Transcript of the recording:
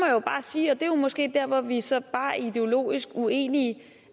jo bare sige og det er måske dér hvor vi så bare er ideologisk uenige